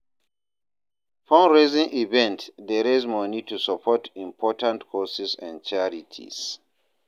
Fundraising events dey raise moni to support important causes and charities.